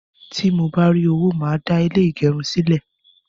Tí mo bá rí owó, màá dá ilé ìgẹrun sílè